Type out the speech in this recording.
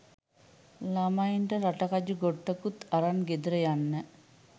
ළමයින්ට රටකජු ගොට්ටකුත් අරන් ගෙදර යන්න